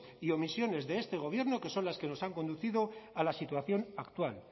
y omisiones de este gobierno que son las que nos han conducido a la situación actual